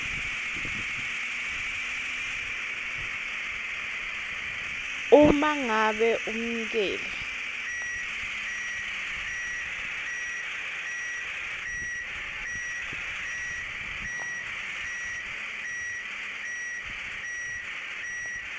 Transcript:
uma ngabe umnikeli